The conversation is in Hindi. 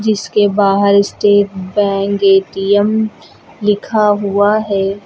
इसके बाहर स्टेट बैंक ए_टी_एम लिखा हुआ है।